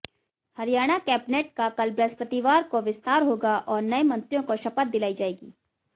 Haryana cabinet का कल बृहस्पतिवार को विस्तार होगा और नए मंत्रियों को शपथ दिलाई जाएगी